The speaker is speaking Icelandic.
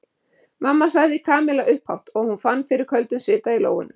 Mamma sagði Kamilla upphátt og hún fann fyrir köldum svita í lófunum.